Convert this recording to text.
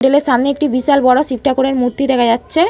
Hotel এর সামনে একটি বিশাল বরো শিবঠাকুরের মূর্তি দেখা যাচ্ছে।